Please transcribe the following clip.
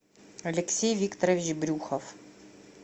алексей викторович брюхов